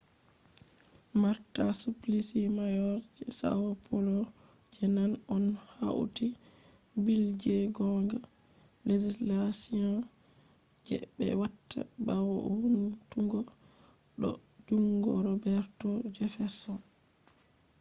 marta suplicy mayor je são paulo je nane on hauti bill je gonga. legislation je be watta bawo vountungo do jungo roberto jefferson